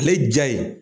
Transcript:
Ale ja ye